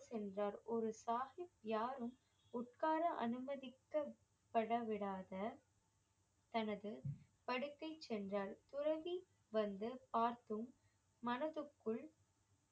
சென்றார் ஒரு சாஹிப் யாரும் உட்கார அனுமதிக்கப்பட விடாத தனது படுக்கை சென்றால் துறவி வந்து பார்த்தும் மனதுக்குள்